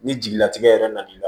Ni jigilatigɛ yɛrɛ na n'i la